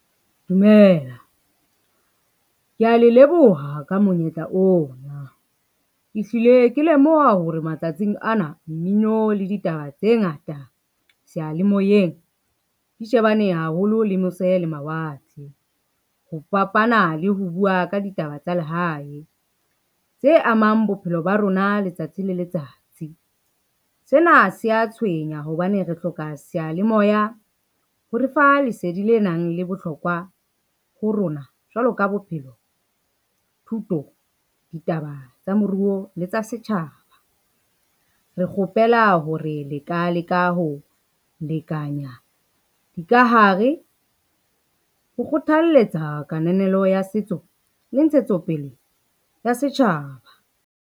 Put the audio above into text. Dumela, kea le leboha ka monyetla ona. Ke hlile ke lemoha hore matsatsing ana, mmino le ditaba tse ngata seyalemoyeng di shebane haholo le mose le mawatle, ho fapana le ho bua ka ditaba tsa lehae, tse amang bophelo ba rona letsatsi le letsatsi. Sena se a tshwenya hobane re hloka seyalemoya ho refa lesedi le nang le bohlokwa ho rona jwalo ka bophelo, thuto, ditaba tsa moruo le tsa setjhaba. Re kgopela hore le ka leka ho lekanya dikahare ho kgothaletsa kananelo ya setso le ntshetsopele ya setjhaba.